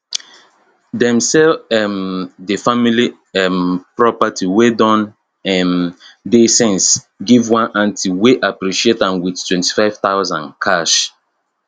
dem sell um di family um property wey don um dey since give one auntie wey appreciate am with 25000 cash